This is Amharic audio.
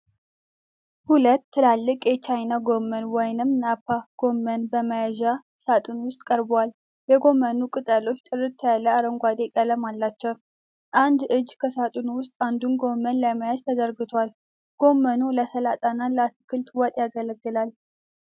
ሁለት ትላልቅ የቻይና ጎመን (ናፓ ጎመን) በመያዣ ሣጥን ውስጥ ቀርበዋል። የጎመኑ ቅጠሎች ጥርት ያለ አረንጓዴ ቀለም አላቸው። አንድ እጅ ከሣጥኑ ውስጥ አንዱን ጎመን ለመያዝ ተዘርግቷል። ጎመኑ ለሰላጣ እና ለአትክልት ወጥ ያገለግላል።